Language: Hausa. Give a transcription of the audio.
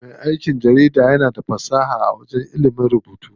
Me aikin jarida mutum ne wanda yake da fasaha a ilimin rubutu.